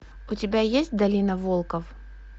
у тебя есть долина волков